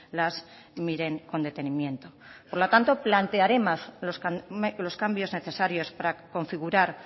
las miren con detenimiento por lo tanto plantearemos los cambios necesarios para configurar